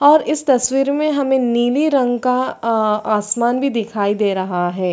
और इस तस्वीर में हमें नीले रंग का आ आसमान भी दिखाई दे रहा हैं।